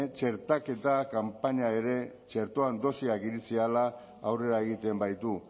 txertaketa kanpainak ere txertoaren dosiak iritsi ahala aurrera egiten baitu